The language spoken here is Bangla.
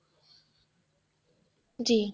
জী,